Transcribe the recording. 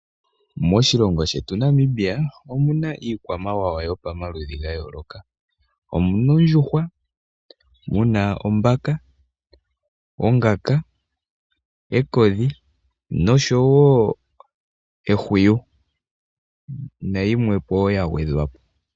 Moshilongo shetu Namibia omuna iikwamawawa ya yooloka. Omuna ondjuhwa, ombaka, ongaka, ekodhi osho wo ehwiyu nayimwe po wo ya gwedhwa po.